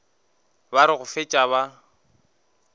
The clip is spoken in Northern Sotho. ba re go fetša ba